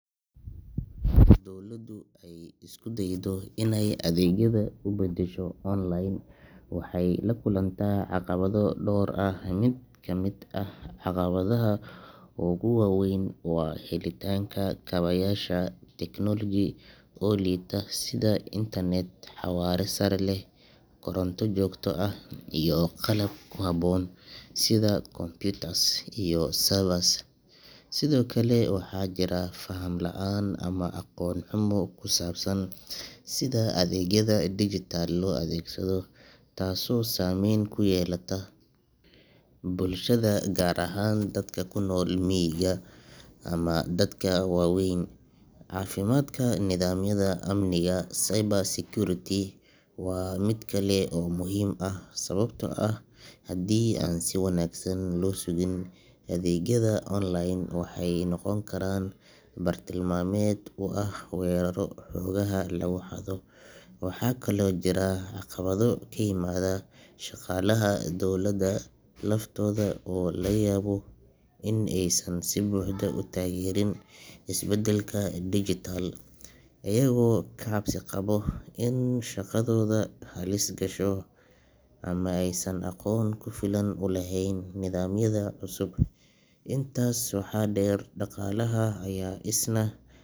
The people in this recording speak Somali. Marka dowladdu ay isku daydo inay adeegyada u beddesho online, waxay la kulantaa caqabado dhowr ah. Mid ka mid ah caqabadaha ugu waa weyn waa helitaanka kaabayaasha technology oo liita, sida internet xawaare sare leh, koronto joogto ah, iyo qalab ku habboon sida computers iyo servers. Sidoo kale, waxaa jirta faham la’aan ama aqoon xumo ku saabsan sida adeegyada digitalcs] loo adeegsado, taasoo saamayn ku yeelata bulshada gaar ahaan dadka ku nool miyiga ama dadka waaweyn. Caafimaadka nidaamyada amniga cyber security waa mid kale oo muhiim ah, sababtoo ah haddii aan si wanaagsan loo sugin, adeegyada online waxay noqon karaan bartilmaameed u ah weerarro xogaha lagu xado. Waxaa kaloo jira caqabado ka yimaada shaqaalaha dowladda laftooda oo laga yaabo in aysan si buuxda u taageerin isbeddelka digital, iyagoo ka cabsi qaba in shaqadooda halis gasho ama aysan aqoon ku filan u lahayn nidaamyada cusub. Intaas waxaa dheer, dhaqaalaha ayaa isna.